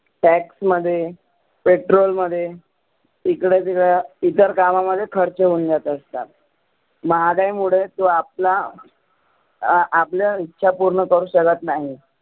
tax मध्ये petrol मध्ये इकडं तिकडं इतर कामामध्ये खर्च होऊन जात असतात. महागाई मुळे तो आपला अं आपलं इच्छा पुर्ण करु शकत नाही.